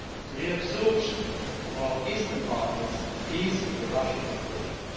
The reabsorption of our eastern partners is a Russian project.